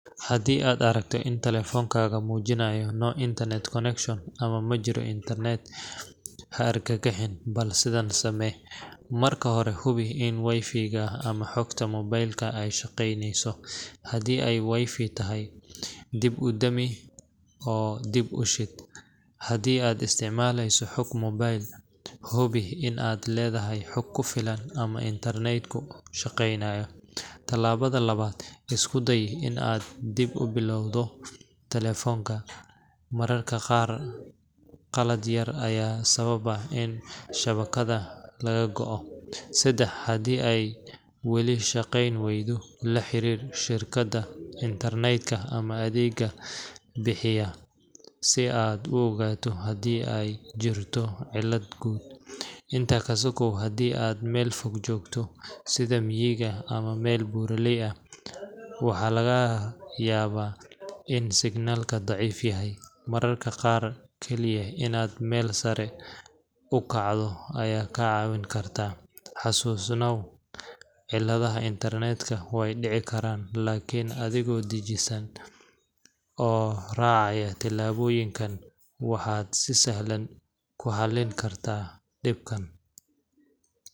Haddii aad aragto in telefoonkaaga muujinayo No Internet Connection ama Ma jiro internet, ha argagixin –bal sidan samee:Marka hore, hubi in Wi-Fi ga ama xogta mobaylka ay shaqaynayso. Haddii ay Wi-Fi tahay, dib u dami oo dib u shid. Haddii aad isticmaaleyso xog mobayl, hubi in aad leedahay xog ku filan ama network ku shaqaynayo. Tallaabada labaad, isku day in aad dib u bilowdo telefoonka. Mararka qaar qalad yar ayaa sababa in shabakadda laga go’o. Saddex, haddii ay weli shaqayn waydo, la xiriir shirkadda internet ka ama adeeg bixiyaha si aad u ogaato haddii ay jirto cilad guud. Intaa ka sokow, haddii aad meel fog joogto sida miyiga ama meel buuraley ah – waxaa laga yaabaa in signal ka daciif yahay. Mararka qaar, kaliya inaad meel sare u kacdo ayaa kaa caawin karta. Xasuusnow, ciladaha internet-ka way dhici karaan laakin adigoo dejisan oo raacaya tillaabooyinkan waxaad si sahlan ku xallin kartaa dhibka.